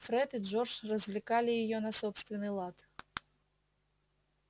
фред и джордж развлекали её на собственный лад